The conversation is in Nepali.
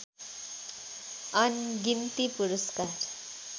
अनगिन्ती पुरस्कार